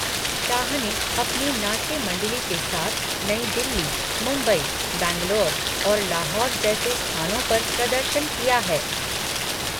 शाह ने अपनी नाट्य मंडली के साथ नई दिल्ली, मुंबई, बैंगलोर और लाहौर जैसे स्थानों पर प्रदर्शन किया है।